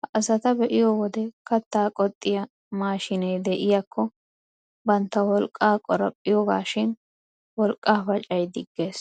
Ha asata be'iyo wode kattaa qoxxiyaa maashiinee de'iyaakko bantta wolqqaa qoraphpiyogaashin, wolqqaa pacay diggees.